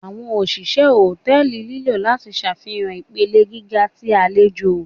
Awọn oṣiṣẹ hòtẹ́ẹ̀lì nilo lati ṣafihan ipele giga ti alejò.